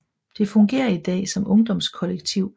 Det fungerer i dag som ungdomskollektiv